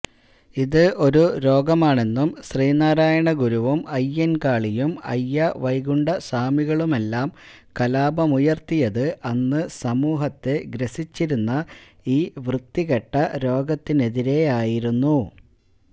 ഇത് ഒരു രോഗമാണെന്നും ശ്രീനാരായണ ഗുരുവും അയ്യന്കാളിയും അയ്യാവൈകുണ്ഠ സ്വാമികളുമെല്ലാം കലാപമുയര്ത്തിയത് അന്ന് സമൂഹത്തെ ഗ്രസിച്ചിരുന്ന ഈ വൃത്തികെട്ട രോഗത്തിനെതിരെയായിരുന്നു